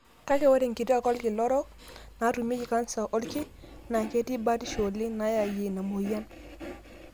Kake, ore nkituak olkira orok naatumieki kansa oolki naa ketii batiho oleng' nayayie ina moyian.